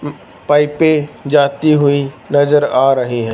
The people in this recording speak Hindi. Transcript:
पाइपें जाती हुई नज़र आ रही हैं।